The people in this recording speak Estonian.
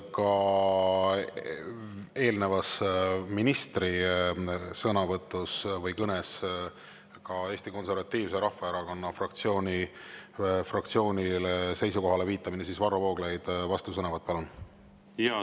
Kuna eelnevas ministri sõnavõtus või kõnes viidati ka Eesti Konservatiivse Rahvaerakonna fraktsiooni seisukohale, siis Varro Vooglaid, vastusõnavõtt, palun!